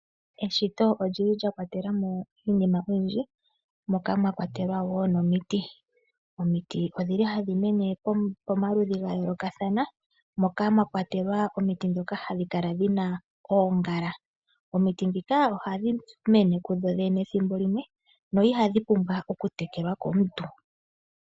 Eshito olyi li lya kwatela mo iinima oyindji moka mwakwatelwa wo nomiti. Omiti odhi li hadhi mene pomaludhi ga yoolokathana moka mwakwatelwa omiti dhono ha dhi kala dhina oongala. Omiti dhika oha dhi mene ku dho dhene ethimbo limwe no ihadhi pumbwa okutekelwa komuntu.